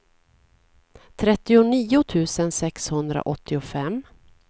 trettionio tusen sexhundraåttiofem